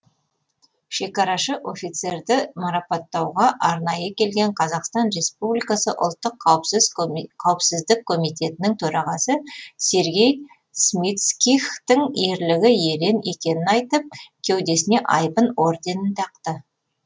шекарашы офицерді маратапаттауға арнайы келген қазақстан республикасы ұлттық қауіпсіздік комитетінің төрағасы сергей смицкихтің ерлігі ерен екенін айтып кеудесіне айбын орденін тақты